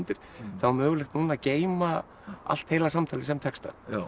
þá er mögulegt núna að geyma allt heila samtalið sem texta